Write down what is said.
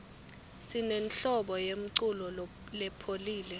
sinenhlobo yemculo lepholile